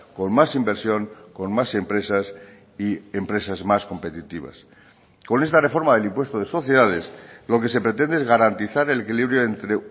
con más inversión con más empresas y empresas más competitivas con esta reforma del impuesto de sociedades lo que se pretende es garantizar el equilibrio entre